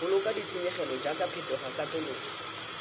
boloka ditshenyegelo jaaka phetogo katoloso